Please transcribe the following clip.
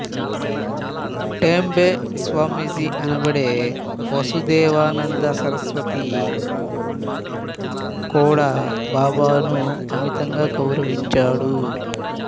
టెంబే స్వామీజీ అనబడే వసుదేవానంద సరస్వతి కూడా బాబాను అమితంగా గౌరవించాడు